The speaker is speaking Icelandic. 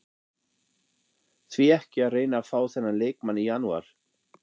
Því ekki að reyna að fá þennan leikmann í janúar?